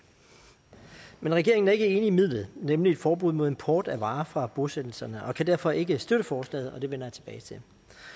men regeringen er ikke enig i midlet nemlig et forbud mod import af varer fra bosættelserne og kan derfor ikke støtte forslaget og det vender jeg tilbage til